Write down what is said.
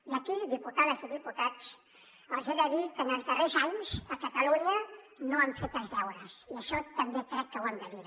i aquí diputades i diputats els he de dir que en els darrers anys a catalunya no han fet els deures i això també crec que ho hem de dir